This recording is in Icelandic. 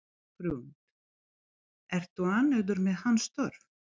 Hrund: Ertu ánægður með hans störf?